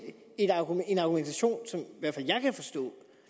en argumentation som i hvert fald jeg kan forstå